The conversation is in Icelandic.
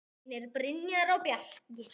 Synir: Brynjar og Bjarki.